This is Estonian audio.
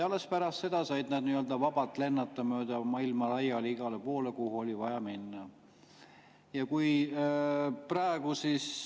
Alles pärast seda said nad vabalt lennata mööda maailma laiali igale poole, kuhu oli vaja minna.